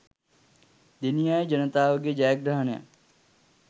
දෙණියාය ජනතාවගේ ජයග්‍රහණයක්.